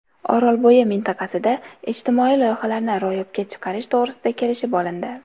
Orolbo‘yi mintaqasida ijtimoiy loyihalarni ro‘yobga chiqarish to‘g‘risida kelishib olindi.